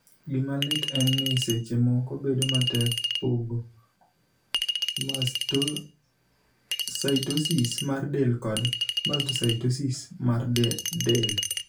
Gima lit en ni, seche moko bedo matek pogo mastocytosis mar del kod mastocytosis mar del.